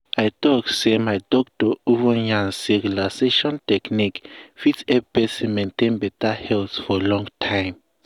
i talk say my doctor even yarn say relaxation technique fit help person maintain beta health for long time.